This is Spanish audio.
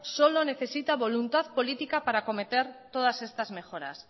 solo necesita voluntad política para cometer todas estas mejoras